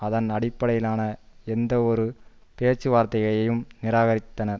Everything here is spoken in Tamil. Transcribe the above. அதன் அடிப்படையிலான எந்தவொரு பேச்சு வார்த்தையையும் நிராகரித்தனர்